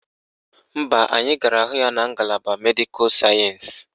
Mba, anyị gara hụ ya na ngalaba Medịkal sayensị